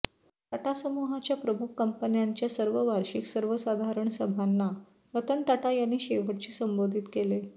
टाटा समूहाच्या प्रमुख कंपन्यांच्या सर्व वार्षिक सर्वसाधारण सभांना रतन टाटा यांनी शेवटचे संबोधित केले